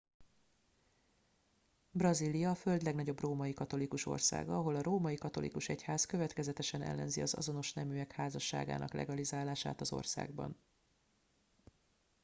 brazília a föld legnagyobb római katolikus országa ahol a római katolikus egyház következetesen ellenzi az azonos neműek házasságának legalizálását az országban